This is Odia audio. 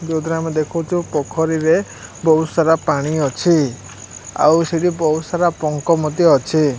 ଜୋଉତିରେ ଆମେ ଦେଖିଚୁ ପୋଖୋରିରେ ବୋହୁତ ସାରା ପାଣି ଅଛି ଆଉ ସେଠି ବୋହୁତ ସାରା ପଙ୍କ ମଧ୍ୟ ଅଛି।